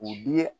U bi ye